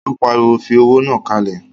Ó pariwo, fi owó náà kalẹ̀!